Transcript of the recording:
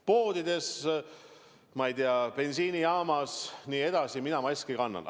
Poodides ja bensiinijaamas jne mina maski kannan.